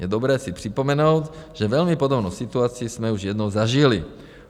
Je dobré si připomenout, že velmi podobnou situaci jsme už jednou zažili.